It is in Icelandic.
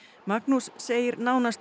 Magnús segir nánast